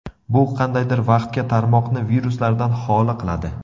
Bu qandaydir vaqtga tarmoqni viruslardan xoli qiladi.